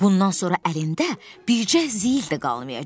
Bundan sonra əlində bircə ziyil də qalmayacaq.